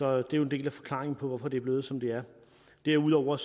er jo en del af forklaringen på hvorfor det er blevet som det er derudover